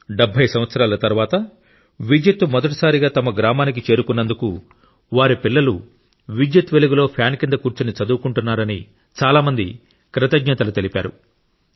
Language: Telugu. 70 సంవత్సరాల తరువాత విద్యుత్తు మొదటిసారిగా తమ గ్రామానికి చేరుకున్నందుకు వారి పిల్లలు విద్యుత్తు వెలుగులో ఫ్యాన్ కింద కూర్చుని చదువుకుంటున్నారని చాలా మంది కృతజ్ఞతలు తెలిపారు